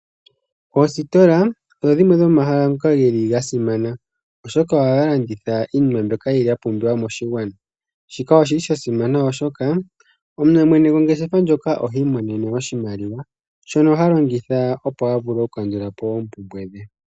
Oositola odho dhimwe dhomomahala ngoka geli ga simana oshoka ohaga landitha iinima mbyoka yili ya pumbiwa moshigwana. Shika oshili sha simana oshoka mwene gongeshefa ndjoka ihi imonene oshimaliwa shono ha longitha opo avule oku kandulapo oompumbwe dhe.